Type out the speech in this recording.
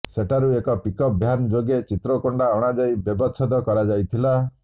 ସେଠାରୁ ଏକ pickup van ଯୋଗେ ଚିତ୍ରକୋଣ୍ଡା ଅଣାଯାଇ ବ୍ୟବଚ୍ଛେଦ କରାଯାଇଥିଲା